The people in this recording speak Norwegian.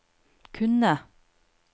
kunne